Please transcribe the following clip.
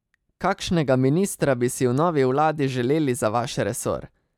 Kakšnega ministra bi si v novi vladi želeli za vaš resor?